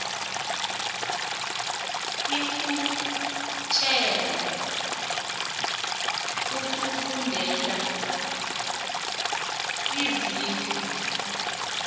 ikhutjhelwa ukufundela iziqu